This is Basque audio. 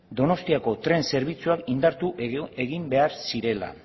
donostiako tren zerbitzuak indartu egin behar zirela